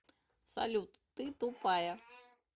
салют ты тупая